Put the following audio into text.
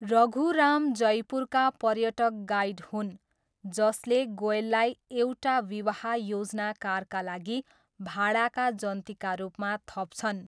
रघु राम जयपुरका पर्यटक गाइड हुन्, जसले गोयललाई, एउटा विवाह योजनाकारका लागि भाडाका जन्तीका रूपमा थप्छन्।